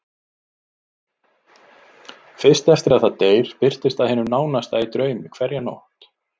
Fyrst eftir að það deyr birtist það hinum nánasta í draumi hverja nótt.